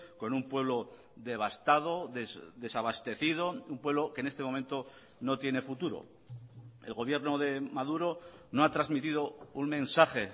con un pueblo devastado desabastecido un pueblo que en este momento no tiene futuro el gobierno de maduro no ha transmitido un mensaje